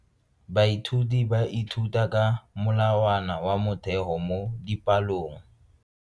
Baithuti ba ithuta ka molawana wa motheo mo dipalong.